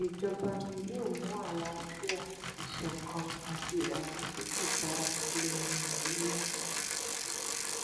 ìsejọba mi yóò mú àlàáfíà ìṣọkan àti ìdàgbàsókè bá ilẹ nàíjíríà